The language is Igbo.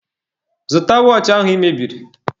Zụta wọọchị ahụ I mebiri!